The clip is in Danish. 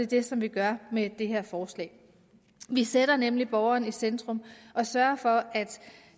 det som vi gør med det her forslag vi sætter nemlig borgeren i centrum og sørger for